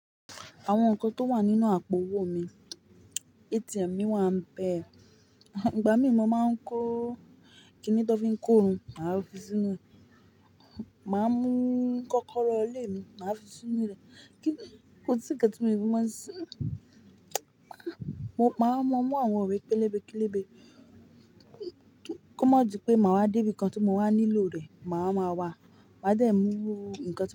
Àwọn nǹkan tó wà nínú àpò owó mi, ATM mi wá ń bẹ. Ìgbà mí mo máa ń kó kinni tó fi ń kó irun, màá fi sínu rẹ̀. Màá mú kọ́kọ́rọ́ ilé mi, màá fi sínú rẹ̀. Kíni, kò sí ǹkan tí mo ì tí mo máa sì. Màá mú àwọn ìwé pélébé kélébé kó má di pé màá dé ibi kan tí mo wà nílò rẹ̀, màá máa wà. Màá dẹ̀ mú ǹkan tí mo.